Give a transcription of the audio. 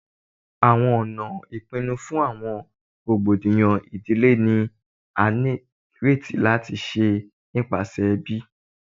Awọn ọna ipinnu fun awọn rogbodiyan idile ni a nireti lati ṣe nipasẹ ẹbi